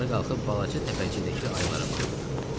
Yuxarı qalxıb balaca təpəcikdəki ayılara baxdıq.